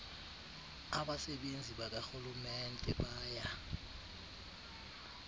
abasebenzi bakarhulumente baya